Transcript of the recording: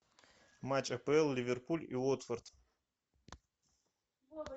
матч апл ливерпуль и уотфорд